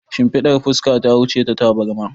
Shimfidar fuska ta wuce ta tabarma